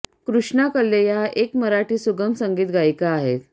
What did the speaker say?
कृष्णा कल्ले या एक मराठी सुगम संगीत गायिका आहेत